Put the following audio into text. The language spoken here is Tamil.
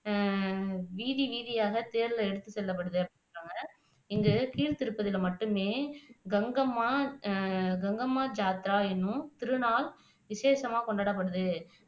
வீதி வீதியாக தேர்ல எடுத்து செல்லப்படுது அப்படின்னு சொல்றாங்க இது கீழ்த்திருப்பதில மட்டுமே கங்கம்மா அஹ் கங்கம்மா என்னும் திருநாள் விசேசமா கொண்டாடப்படுது